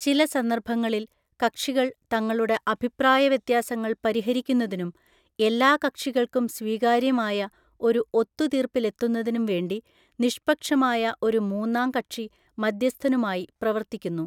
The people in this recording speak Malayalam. ചില സന്ദർഭങ്ങളിൽ, കക്ഷികൾ തങ്ങളുടെ അഭിപ്രായവ്യത്യാസങ്ങൾ പരിഹരിക്കുന്നതിനും എല്ലാ കക്ഷികൾക്കും സ്വീകാര്യമായ ഒരു ഒത്തുതീർപ്പിലെത്തുന്നതിനും വേണ്ടി നിഷ്പക്ഷമായ ഒരു മൂന്നാം കക്ഷി മധ്യസ്ഥനുമായി പ്രവർത്തിക്കുന്നു.